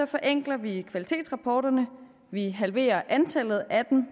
forenkler vi kvalitetsrapporterne og vi halverer antallet af dem